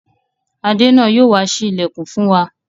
adèna Yóò wá sí ilẹkùn fún wá.